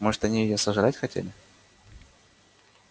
может они её сожрать хотели